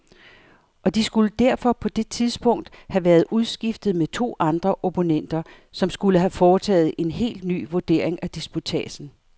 Og de skulle derfor på det tidspunkt have været udskiftet med to andre opponenter, som skulle have foretaget en helt ny vurdering af disputatsen.